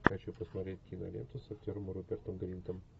хочу посмотреть киноленту с актером рупертом гринтом